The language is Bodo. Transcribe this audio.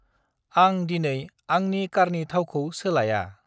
आंं दिनै आंनि कारनि थावखौ सोलाया।